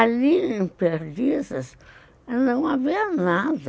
Ali, perto, não havia nada.